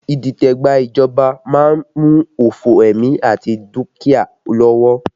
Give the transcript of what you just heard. Idite gba ìjọba má ń mú òfo ẹ̀mí àti dúkìá lọ́wọ́